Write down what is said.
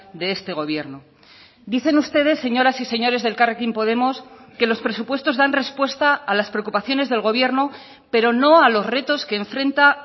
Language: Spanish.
de este gobierno dicen ustedes señoras y señores de elkarrekin podemos que los presupuestos dan respuesta a las preocupaciones del gobierno pero no a los retos que enfrenta